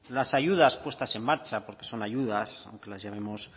las ayudas puestas en marcha porque son ayudas aunque las llamemos